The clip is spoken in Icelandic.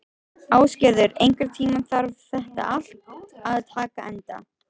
Ásgerður, einhvern tímann þarf allt að taka enda.